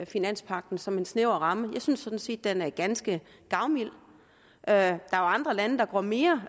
finanspagten som en snæver ramme jeg synes sådan set at den er ganske gavmild der er andre lande der går mere